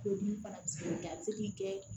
Tulodimi fana bi se ka kɛ a be se k'i kɛ